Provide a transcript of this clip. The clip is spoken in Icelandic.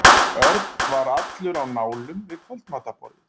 Örn var allur á nálum við kvöldmatarborðið.